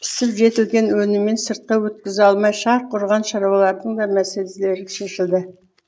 пісіп жетілген өнімін сыртқа өткізе алмай шарқ ұрған шаруалардың да мәселелері шешілді